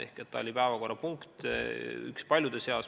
Ehk see oli päevakorrapunkt, üks paljude seas.